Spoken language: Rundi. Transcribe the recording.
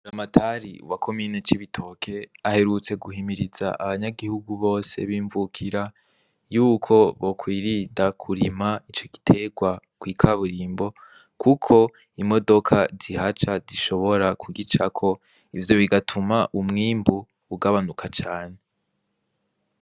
Buramatari wa komine cibitoke aherutse guhimiriza abanyagihugu bose b'imvukira yuko bo kwirinda kurima ico giterwa kw'ikaburimbo kuko imodoka zihaca zishobora kugicako ivyo bigatuma umwimbu ugabanuka cane.